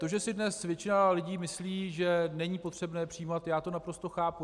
To, že si dnes většina lidí myslí, že není potřebné přijímat, já to naprosto chápu.